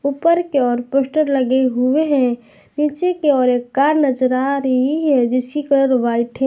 पर की ओर पोस्टर लगे हुए हैं नीचे की ओर एक कार खड़ी हुई है जिसकी कलर व्हाइट है।